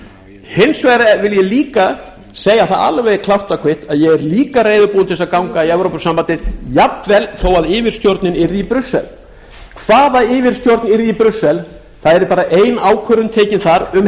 fram hins vegar vil ég líka segja það alveg klárt og kvitt að ég er líka reiðubúinn til að ganga í evrópusambandið jafnvel þó að yfirstjórnin yrði í brussel hvaða yfirstjórn yrði í brussel það yrði bara ein ákvörðun tekin þar um